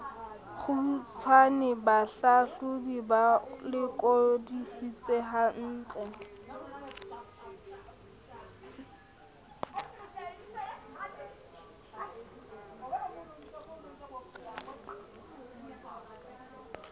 kgutshwane bahlahlobi ba lekodisise hantle